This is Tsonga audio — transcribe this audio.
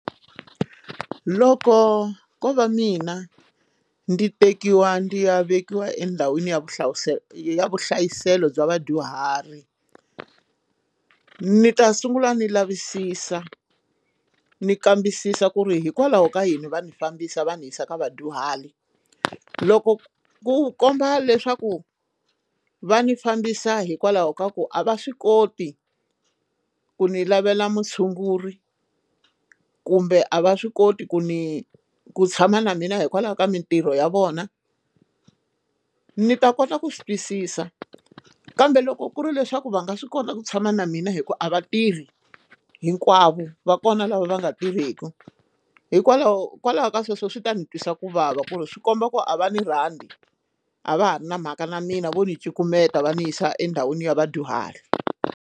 Loko ko va mina ndzi tekiwa ndzi ya vekiwa endhawini ya vuhlawuselo ya vuhlayiselo bya vadyuhari ni ta sungula ni lavisisa ndzi kambisisa ku ri hikwalaho ka yini va ni fambisa va ni yisa ka vadyuhari loko ku komba leswaku va ni fambisa hikwalaho ka ku a va swi koti ku ndzi lavela mutshunguri kumbe a va swi koti ku ni ku tshama na mina hikwalaho ka mintirho ya vona ni ta kota ku swi twisisa kambe loko ku ri leswaku va nga swi kota ku tshama na mina hikuva a va tirhi hinkwavo va kona lava va nga tirheki hikwalaho kwalaho ka sweswo swi ta ndzi twisa ku vava ku ri swi komba ku a va ni rhandi a va ha ri na mhaka na mina vo ni cukumeta va ndzi yisa endhawini ya vadyuhari.